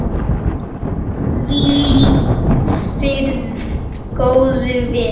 Hvíl í friði, góði vinur.